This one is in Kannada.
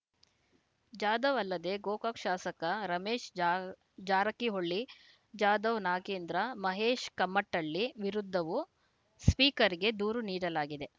ಜಾಧವ್‌ ಅಲ್ಲದೆ ಗೋಕಾಕ್‌ ಶಾಸಕ ರಮೇಶ ಜಾ ಜಾರಕಿಹೊಳಿ ಜಾಧವ್‌ ನಾಗೇಂದ್ರ ಮಹೇಶ್‌ ಕಮಟಳ್ಳಿ ವಿರುದ್ಧವೂ ಸ್ಪೀಕರ್‌ಗೆ ದೂರು ನೀಡಲಾಗಿದೆ